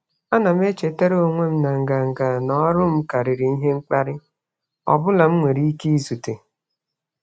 Ana m echetara onwe m na nganga n'ọrụ m karịrị ihe mkparị ọ bụla m nwere ike izute.